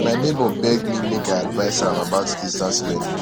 my nebor beg me make i advice am about distance learning